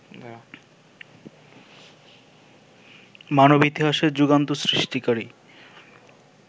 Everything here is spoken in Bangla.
মানব ইতিহাসে যুগান্ত সৃষ্টিকারী